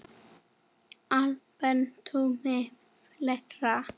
Kolbeinn Tumi Fleira?